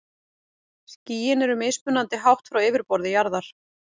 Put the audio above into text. Skýin eru mismunandi hátt frá yfirborði jarðar.